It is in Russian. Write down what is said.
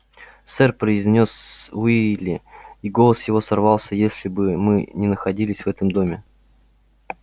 сэр произнёс уилли и голос его сорвался если бы мы не находились в этом доме